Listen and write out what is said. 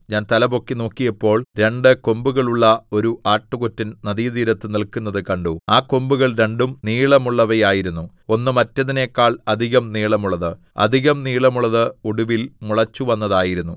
ഞാൻ തലപൊക്കി നോക്കിയപ്പോൾ രണ്ടു കൊമ്പുകളുള്ള ഒരു ആട്ടുകൊറ്റൻ നദീതീരത്ത് നില്ക്കുന്നത് കണ്ടു ആ കൊമ്പുകൾ രണ്ടും നീളമുള്ളവയായിരുന്നു ഒന്ന് മറ്റേതിനെക്കാൾ അധികം നീളമുള്ളത് അധികം നീളമുള്ളത് ഒടുവിൽ മുളച്ചുവന്നതായിരുന്നു